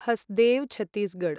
Hasdeo Chhattisgarh